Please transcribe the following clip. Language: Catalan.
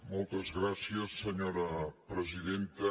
moltes gràcies senyora presidenta